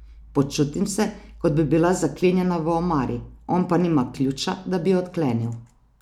Počutim se, kot bi bila zaklenjena v omari, on pa nima ključa, da bi jo odklenil.